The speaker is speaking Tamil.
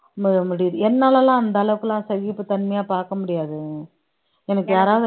அந்த அளவுக்கு எல்லாம் சகிப்புத்தன்மையா பாக்க முடியாது எனக்கு யாரவது